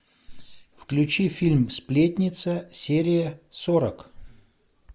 включи фильм сплетница серия сорок